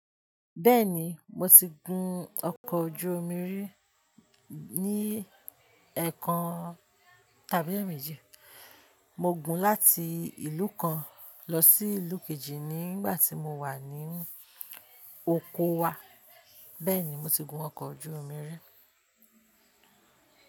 Bẹ́ẹ̀ni, mo ti gun ọkọ̀ ojú omi rí ní ẹ̀kan tàbí èèmejì. Mo gun láti ìlú kan lọ sí ìlú kejì nígbà tí mo wà ní oko wa. Bẹ́ẹ̀ni, mo ti gun ọkọ̀ ojú omi rí.